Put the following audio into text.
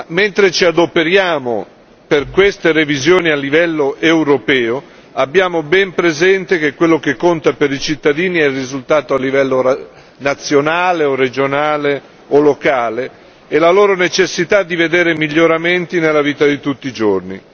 Mentre ci adoperiamo per queste revisioni a livello europeo, abbiamo ben presente che quello che conta per i cittadini è il risultato a livello nazionale o regionale o locale e la loro necessità di vedere miglioramenti nella vita di tutti i giorni.